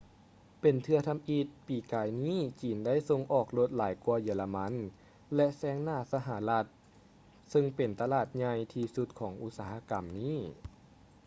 ເປັນເທື່ອທຳອິດປີກາຍນີ້ຈີນໄດ້ສົ່ງອອກລົດຫຼາຍກ່ວາເຢຍລະມັນ ແລະ ແຊງໜ້າສະຫະລັດເຊິ່ງເປັນຕະຫຼາດໃຫຍ່ທີ່ສຸດຂອງອຸດສາຫະກຳນີ້